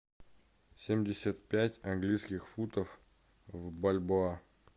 семьдесят пять английских футов в бальбоа